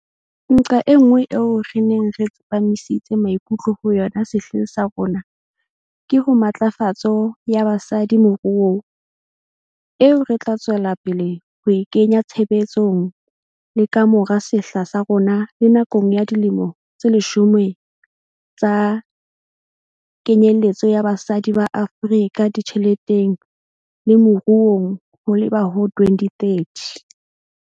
Nqa enngwe eo re neng re tsepamisitse maikutlo ho yona sehleng sa rona ke ho matlafatso ya basadi moruong, eo re tla tswela pele ho e kenya tshebetsong le ka mora sehla sa rona le nakong ya Dilemo tse Leshome tsa Kenyeletso ya Basadi ba Afrika Ditjheleteng le Moruong ho leba ho 2030.